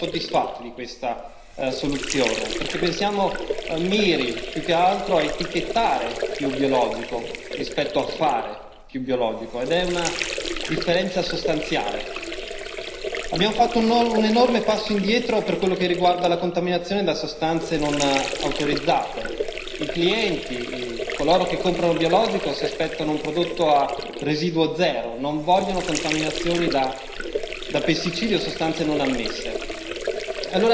Quindi noi non siamo soddisfatti di questa soluzione, perché pensiamo miri più che altro a etichettare più biologico rispetto a fare più biologico ed è una differenza sostanziale. Abbiamo fatto un enorme passo indietro per quello che riguarda la contaminazione da sostanze non autorizzate. Coloro che comprano biologico si aspettano un prodotto a residuo zero non vogliono contaminazioni da pesticidi o sostanze non ammesse.